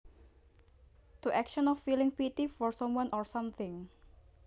To action of feeling pity for someone or something